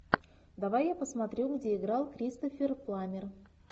давай я посмотрю где играл кристофер пламмер